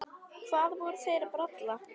Hvað voru þeir að bralla?